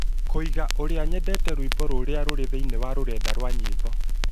kũiga ũrĩa nyendete rwĩmbo rũrĩa rũrĩ thĩinĩ wa rurenda rwa nyimbo